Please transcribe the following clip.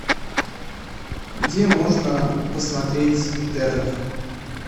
где можно посмотреть интернов